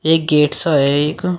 एक गेट सा है एक।